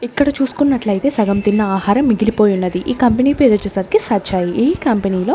ఇక్కడ చూసుకున్నట్లైతే సగం తిన్న ఆహారం మిగిలిపోయి ఉన్నది ఈ కంపెనీ పేరొచ్చేసి సచాయి ఈ కంపెనీ లో.